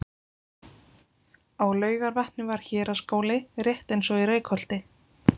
Á Laugarvatni var héraðsskóli rétt eins og í Reykholti.